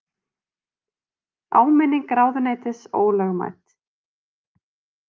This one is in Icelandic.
Áminning ráðuneytis ólögmæt